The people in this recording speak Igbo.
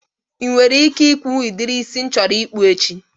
Ị nwere ike ikwunwu udiri isi m chọrọ ịkpụ echi?